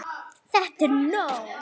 ÞETTA ER NÓG!